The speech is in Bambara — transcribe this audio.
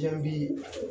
Jaabi